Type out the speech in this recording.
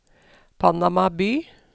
Panama by